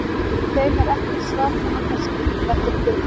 Við þeim er ekkert svar nema kannski: Þetta er bull!